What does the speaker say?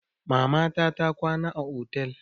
Mamata ta kwana a otel.